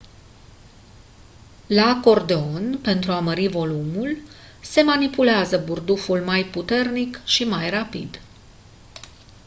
la acordeon pentru a mări volumul se manipulează burduful mai puternic și mai rapid